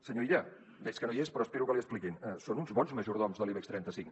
senyor illa veig que no hi és però espero que l’hi expliquin són uns bons majordoms de l’ibex trenta cinc